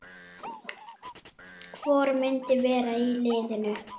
Hvor myndi vera í liðinu?